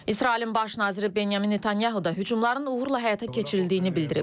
İsrailin Baş naziri Benyamin Netanyahu da hücumların uğurla həyata keçirildiyini bildirib.